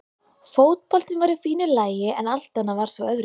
Fótboltinn var í fínu lagi en allt annað var svo öðruvísi.